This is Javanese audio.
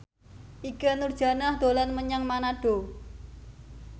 Ikke Nurjanah dolan menyang Manado